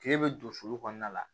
K'e bɛ don sulu kɔnɔna la